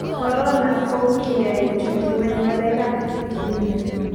korona ko kikoai kochut nyweny ngalek ab kidini